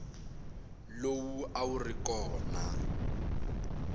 lowu a wu ri kona